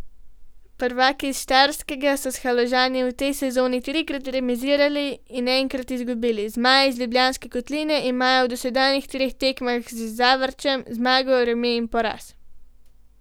Prvaki s Štajerskega so s Haložani v tej sezoni trikrat remizirali in enkrat izgubili, zmaji iz Ljubljanske kotline imajo v dosedanjih treh tekmah z Zavrčem zmago, remi in poraz.